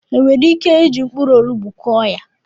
E nwere ike iji mkpụrụ onugbu Kụọ ya?